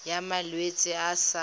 ya malwetse a a sa